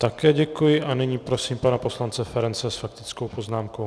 Také děkuji a nyní prosím pana poslance Ferance s faktickou poznámkou.